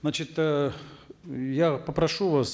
значит э я попрошу вас